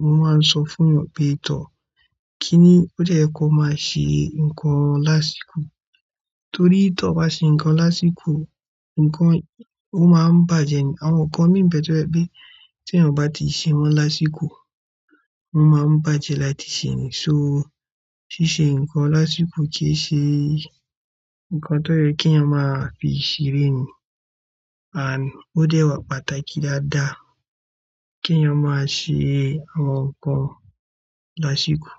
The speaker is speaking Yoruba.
mo máa ń sọ fún èèyàn pé, tọ́ kí ó dẹ́ yẹ kó máa ṣe nǹkan lásìkò? Torí tí ọ bá ṣe nǹkan lásìkò, nǹkan ó máa ń bàjẹ́ ni. Àwọn nǹkan mìí nbẹ́ to jẹ pé tí èèyàn o bá ti ṣe wọ́n lásìkò, wọ́n máa ń bàjẹ́ láti sẹ̀ ni So, ṣíṣe nǹkan lásìkò kì í ṣe nǹkan tó yẹ kí eeyan máa fi ṣeré ni. And ó dẹ́ wà pàtàkì dáadáa kí ènìyàn máa ṣe àwọn nǹkan lásìkò.